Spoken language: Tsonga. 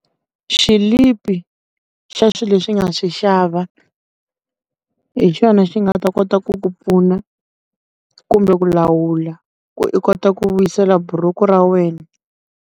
Xilipi xa swilo leswi i nga swi xava, hi xona xi nga ta kota ku ku pfuna, kumbe ku lawula ku u kota ku vuyisela buruku ra wena.